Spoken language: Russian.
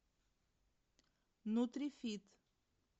нутрифит